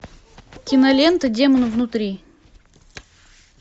кинолента демон внутри